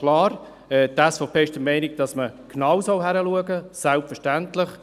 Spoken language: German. Klar, die SVP ist selbstverständlich der Meinung, dass man genau hinsehen soll.